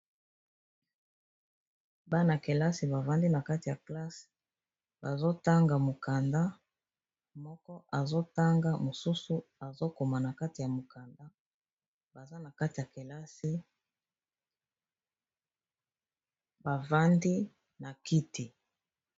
Bana kelasi bavandi na kati ya classe bazo tanga mokanda moko azo tanga mosusu azo koma na kati ya mokanda baza na kati ya kelasi bavandi na kiti.